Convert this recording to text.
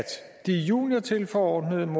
de juniortilforordnede